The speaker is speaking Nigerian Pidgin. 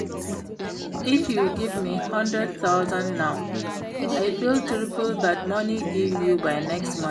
If you give me hundred thousand now I fit triple dat money give you by next month